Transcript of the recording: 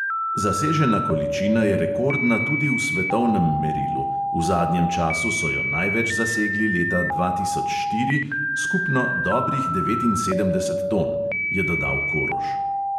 "Zasežena količina je rekordna tudi v svetovnem merilu, v zadnjem času so jo največ zasegli leta dva tisoč štiri, skupno dobrih devetinsedemdeset ton," je dodal koroš.